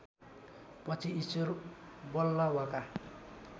पछि ईश्वर वल्लभका